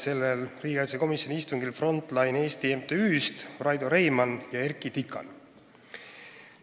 Sellel riigikaitsekomisjoni istungil osalesid kutsututest Raido Reimann ja Erkki Tikan Front Line Eesti MTÜ-st.